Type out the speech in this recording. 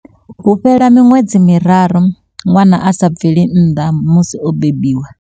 Hu fhela miṅwedzi miraru ṅwana a sa bveli nnḓa musi o bebiwa.